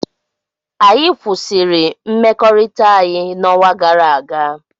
anyị kwụsịrị mmekọrịta anyị n'ọnwa gara aga